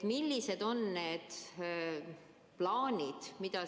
Millised on plaanid?